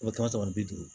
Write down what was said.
O kɛmɛ saba kɛmɛ bi duuru